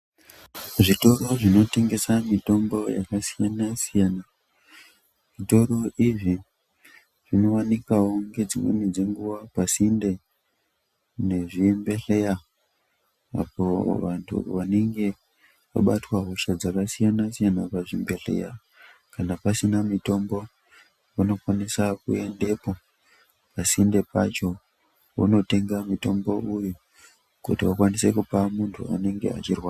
Zvitoro zvinotengesa mitombo yakasiyana siyana, zvitoro izvi zvinowanikawo ngedzimweni dzenguva pasinde nezvibhedhlera apo vantu vanenge vabatwa hosha dzakasiyana siyana pazvibhedhleya kana pasina mitombo vanokwanise kuendepo pasinde pacho vonotenga mutombo uyu kuti vakwanise kupa muntu anenge achirwara.